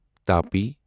Tapi